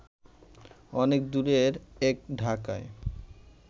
অনেক দূরের এক ঢাকায়